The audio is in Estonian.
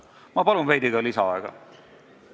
Ma palun veidi lisaaega!